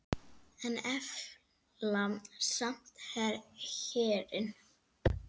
En efla samt herinn.